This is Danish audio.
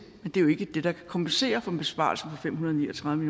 men det er jo ikke det der kan kompensere for en besparelse på fem hundrede og ni og tredive